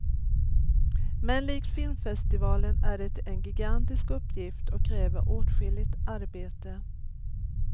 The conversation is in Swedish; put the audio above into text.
Men likt filmfestivalen är det en gigantisk uppgift och kräver åtskilligt arbete.